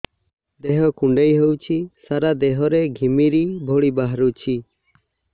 ଦେହ କୁଣ୍ଡେଇ ହେଉଛି ସାରା ଦେହ ରେ ଘିମିରି ଭଳି ବାହାରୁଛି